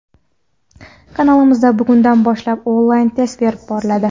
Kanalimizda bugundan boshlab onlayn test berib boriladi.